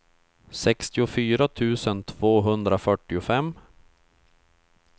sextiofyra tusen tvåhundrafyrtiofem